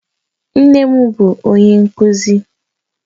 Nne m bu onye nkuzi